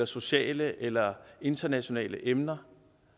sociale eller internationale emner